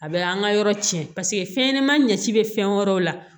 A bɛ an ka yɔrɔ cɛn paseke fɛnɲanaman ɲɛci bɛ fɛn wɛrɛw la